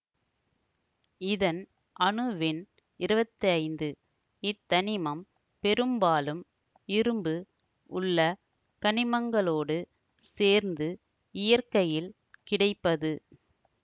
இதன் அணுவெண் இருவத்தி ஐந்து இத்தனிமம் பெரும்பாலும் இரும்பு உள்ள கனிமங்களோடு சேர்ந்து இயற்கையில் கிடைப்பது